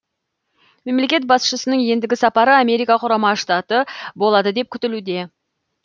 мемлекет басшысының ендігі сапары америка құрама штаты болады деп күтілуде